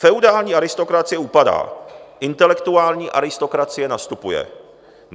Feudální aristokracie upadá, intelektuální aristokracie nastupuje.